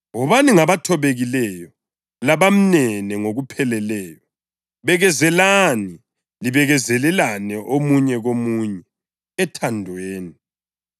Wobani ngabathobekileyo labamnene ngokupheleleyo; bekezelani, libekezelelane omunye komunye ethandweni.